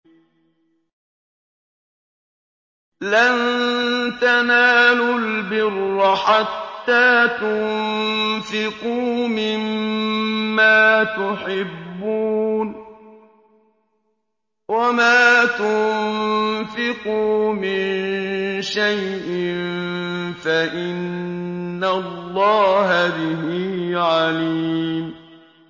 لَن تَنَالُوا الْبِرَّ حَتَّىٰ تُنفِقُوا مِمَّا تُحِبُّونَ ۚ وَمَا تُنفِقُوا مِن شَيْءٍ فَإِنَّ اللَّهَ بِهِ عَلِيمٌ